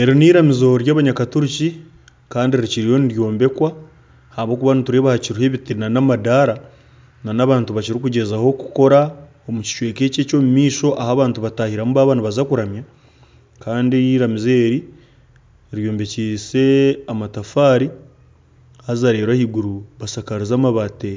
Eri n'eiramizo ry'abanyakaturiki kandi rikiriyo niryombekwa ahabw'okuba nitureeba hakiriho ebiti n'amandara n'abantu bakiri kugyezaho kukora omu kicweka eki eky'omu maisho ahu abantu bataahiramu baaba nibaza kuramya kandi iramizo eri ryombekise amatafaari haza reeru ahaiguru bashakarize amabati